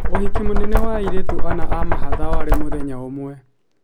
Ũhiki mũnene wa airĩtu ana a mahatha warĩ mũthenya ũmwe